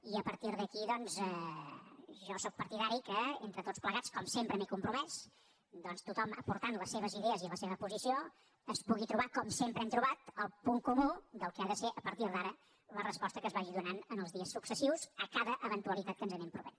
i a partir d’aquí doncs jo sóc partidari que entre tots plegats com sempre m’hi he compromès tothom aportant les seves idees i la seva posició es pugui trobar com sempre hem trobat el punt comú del que ha de ser a partir d’ara la resposta que es vagi donant en els dies successius a cada eventualitat que ens anem trobant